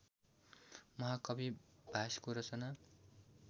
महाकवि भासको रचना